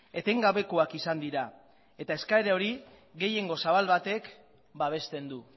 etengabekoak izan dira eta eskaera hori gehiengo zabal batek babesten du